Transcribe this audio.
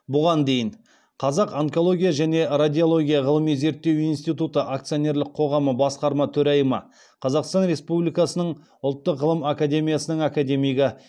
бұған дейін қазақ онкология және радиология ғылыми зерттеу институты акционерлік қоғамы басқарма төрайымы қазақстан республикасының ұлттық ғылым академиясының академигі